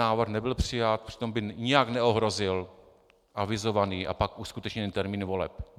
Návrh nebyl přijat, přitom by nijak neohrozil avizovaný a pak uskutečněný termín voleb.